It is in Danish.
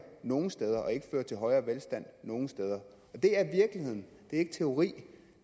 nogen steder og ikke fører til højere velstand nogen steder det er virkeligheden det er ikke teori